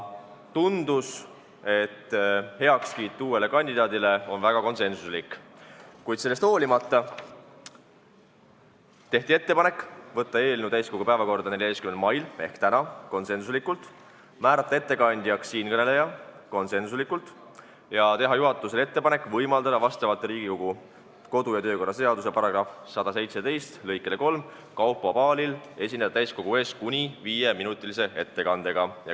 Tundus, et uue kandidaadi toetus on väga konsensuslik, kuid sellest hoolimata tehti ettepanek võtta eelnõu täiskogu päevakorda 14. maiks ehk tänaseks, määrata ettekandjaks siinkõneleja ja teha juhatusele ettepanek võimaldada vastavalt Riigikogu kodu- ja töökorra seaduse § 117 lõikele 3 Kaupo Paalil esineda täiskogu ees kuni 5-minutilise ettekandega.